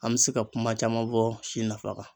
An bɛ se ka kuma caman fɔ si nafa kan.